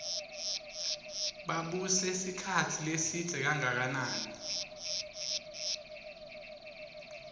babuse sikhatsi lesidze kanganani